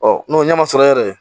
n'o ɲɛma sɔrɔ yɛrɛ